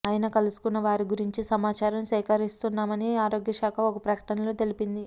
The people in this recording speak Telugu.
ఆయన కలుసుకున్న వారి గురించి సమాచారం సేకరిస్తున్నామని ఆరోగ్యశాఖ ఒక ప్రకటనలో తెలిపింది